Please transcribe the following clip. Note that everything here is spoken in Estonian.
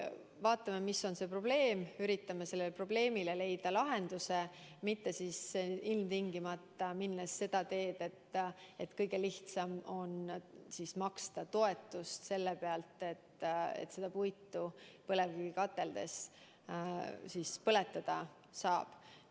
Vaatame, mis on see probleem, üritame sellele probleemile leida lahenduse, mitte ilmtingimata minnes seda kõige lihtsamat teed, makstes toetust selle pealt, et seda puitu põlevkivikateldes põletada saaks.